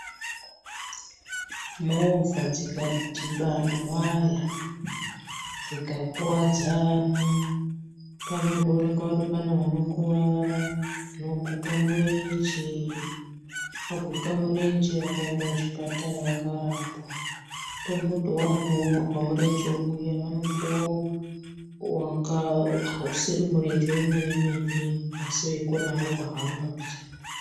Movha dzikadhibana waya, dzikakuvadzana , panondoonekwa kuti pane vanokuvara, vanokuguka murenje. Vaguka murenje vakaenda kuchipatara vakarapwa. Tomboti wagurwa murenje uya, vanopiwa usiri murenje wemene mene asi veigona havo kuhamba bhichana.